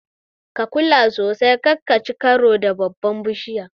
Ka kula sosai kar kaci karo da babbar bishiyar.